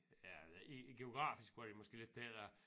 Ja i i geografisk var det måske lidt det der